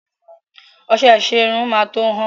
Ọṣẹ ìṣerun máa tó hán.